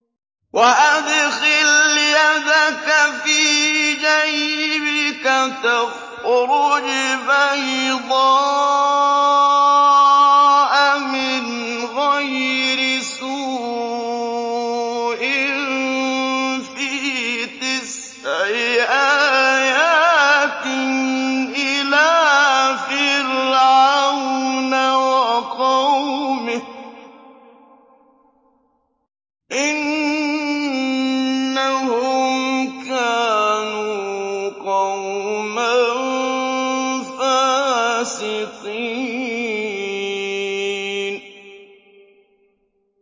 وَأَدْخِلْ يَدَكَ فِي جَيْبِكَ تَخْرُجْ بَيْضَاءَ مِنْ غَيْرِ سُوءٍ ۖ فِي تِسْعِ آيَاتٍ إِلَىٰ فِرْعَوْنَ وَقَوْمِهِ ۚ إِنَّهُمْ كَانُوا قَوْمًا فَاسِقِينَ